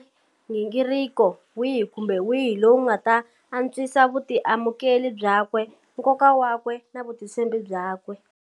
Nghingiriko wihi kumbe wihi lowu wu nga ta antswisa vutiamukeli byakwe, nkoka wakwe na vutitshembi byakwe.